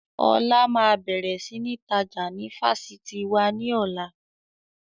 Ọlá máa bẹ̀rẹ̀ sini tajà ni Fásitì wá ní ọ̀la